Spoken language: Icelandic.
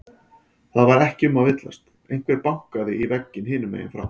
Það var ekki um að villast, einhver bankaði í vegginn hinum megin frá.